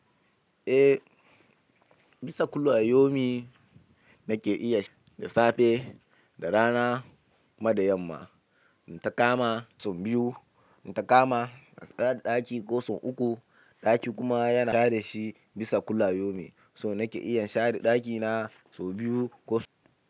Eh, bisa kulli a yaumi nake iya da safe da rana kuma da yamma. Inta kama sau biyu, ta kama na tsada ɗaki ko sau uku. Ɗaki kuma yana share shi bisa kulli a yaumi so nake iya share ɗakina sau biyu ko sau uku.